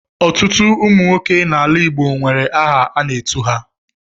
Ọtụtụ ụmụ nwoke n'ala Igbo nwere aha a na-etu ha.